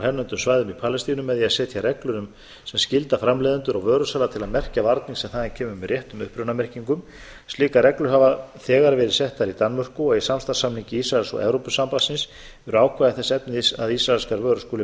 hernumdum svæðum í palestínu með því að setja reglur sem skylda framleiðendur á vöru sinni til að merkja varnir sem þaðan kemur með réttum upprunamerkingum slíkar reglur hafa þegar verið settar í danmörku og í samstarfssamningi ísraels og evrópusamningsins eru ákvæði þess efnis að ísraelskar vörur skulu merktar með